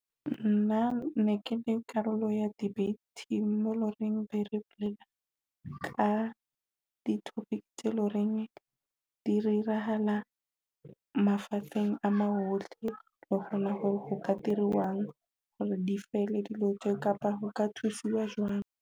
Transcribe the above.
Nna ne ke le karolo ya debating mo e loreng nere bolela ka di-topic tse loreng di re irahala mafatsheng, a mo ohle o kgone ho ka diruwang hore di fele dilo tje kapa ho ka thusiwa jwang.